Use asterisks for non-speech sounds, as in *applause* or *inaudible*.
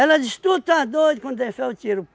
diz, tu está doido, quando der *unintelligible* o tiro.